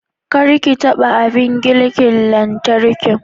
Kar ki taba abin girkin lantarki.